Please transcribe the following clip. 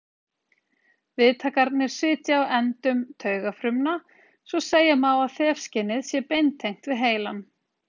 Viðtakarnir sitja á endum taugafrumna svo segja má að þefskynið sé beintengt við heilann.